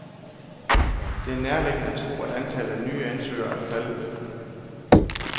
Det er nærliggende at tro, at antallet af nye ansøgere er faldet lidt.